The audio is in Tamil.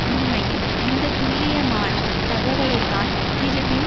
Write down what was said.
உண்மையில் இந்த துல்லியமான தகவலை தான் கிறிவின்